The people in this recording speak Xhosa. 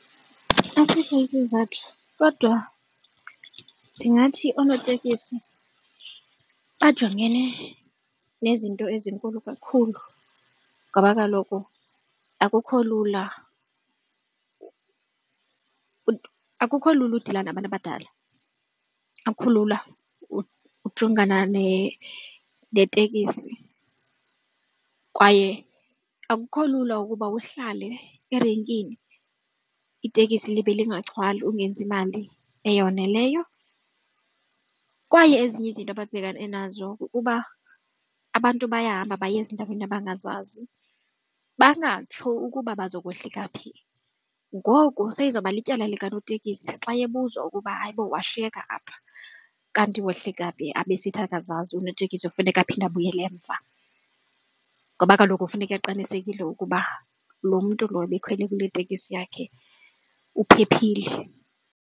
Asikho isizathu kodwa ndingathi oonotekisi bajongene nezinto ezinkulu kakhulu ngoba kaloku akukho lula akukho lula udila nabantu abadala, akukho lula ujongana netekisi kwaye akukho lula ukuba uhlale erenkini itekisi libe lungagcwali ungenzi mali eyoneleyo. Kwaye ezinye izinto ababhekane nazo kukuba abantu bayahamba baye ezindaweni bangazazi bangatsho ukuba bazokohlika phi. Ngoku seyizoba lityala likanotekisi xa ebuzwa ukuba hayi bo washiyeka apha kanti wahlika phi abe esithi akazazi unoteksi kufuneka aphinde abuyele emva ngoba kaloku funeka aqinisekise ukuba loo mntu lo bekhwele kule teksi yakhe uphephile.